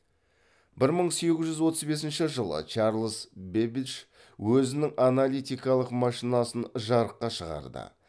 бір мың сегіз жүз отыз бесінші жылы чарльз бэббидж өзінің аналитикалық машинасын жарыққа шығарды